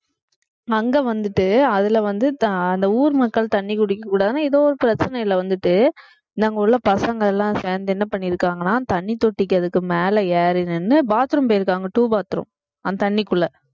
அங்க வந்துட்டு அதுல வந்து அந்த ஊர் மக்கள் தண்ணி குடிக்கக்கூடாதுன்னு ஏதோ ஒரு பிரச்சனையில வந்துட்டு அங்க உள்ள பசங்க எல்லாம் சேர்ந்து என்ன பண்ணியிருக்காங்கன்னா தண்ணி தொட்டிக்கு அதுக்கு மேல ஏறி நின்னு bathroom போயிருக்காங்க two bathroom அந்த தண்ணிக்குள்ள